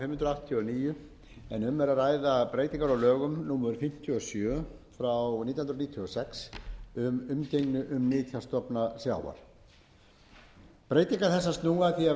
og níu en um er að ræða breytingar á lögum númer fimmtíu og sjö nítján hundruð níutíu og sex um umgengni um nytjastofna sjávar breytingar þessar snúa að því að veita ríkissjóði heimild til að